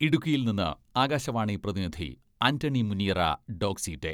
ഇടുക്കിയിൽ നിന്ന് ആകാശവാണി പ്രതിനിധി ആന്റണി മുനിയറ ഡോക്സി ഡേ